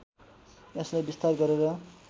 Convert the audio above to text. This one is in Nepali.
यसलाई विस्तार गरेर